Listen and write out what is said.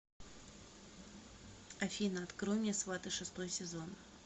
афина открой мне сваты шестой сезон